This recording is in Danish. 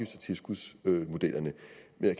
har